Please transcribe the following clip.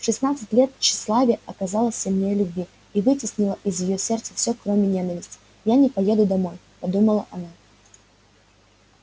в шестнадцать лет тщеславие оказалось сильнее любви и вытеснило из её сердца все кроме ненависти я не поеду домой подумала она